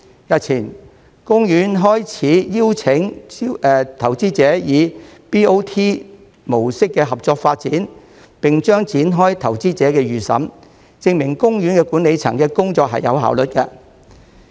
日前，公園開始邀請投資者以 BOT 模式合作發展，並將展開投資者預審，證明公園管理層的工作有效率。